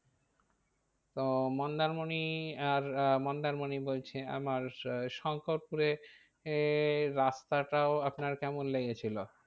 তো মন্দারমণি আর আহ মন্দারমণি বলছি আমার শো~ শঙ্করপুরে এ রাস্তাটাও আপনার কেমন লেগেছিল?